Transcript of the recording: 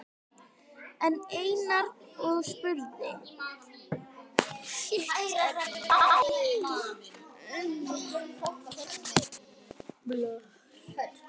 sagði Einar og spurði.